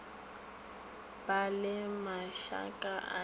ba le mašaka a diruiwa